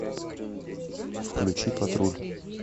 включи патруль